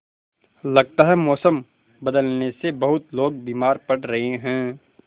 लगता है मौसम बदलने से बहुत लोग बीमार पड़ रहे हैं